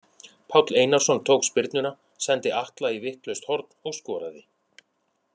Páll Einarsson tók spyrnuna, sendi Atla í vitlaust horn og skoraði.